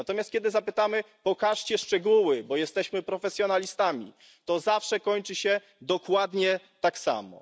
Natomiast kiedy zapytamy, pokażcie szczegóły, bo jesteśmy profesjonalistami, to zawsze kończy się dokładnie tak samo.